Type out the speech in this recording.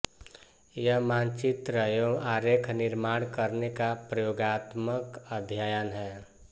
यह मानचित्र व आरेख निर्माण करने का प्रयोगात्मक अध्ययन है